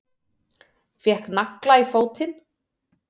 Fékk nagla í fótinn